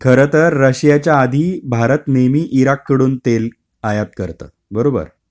खरतर रशियाच्या आधी भारत नेहमी इराककडून तेल आयात करतं. बरोबर?